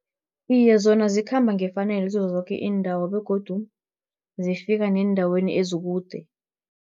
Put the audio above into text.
Iye, zona zikhamba ngefanelo kizozoke iindawo, begodu zifika neendaweni ezikude.